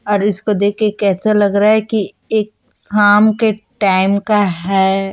और इसको देखके कैसा लग रहा हैं? कि एक शाम के टाईम का हैं।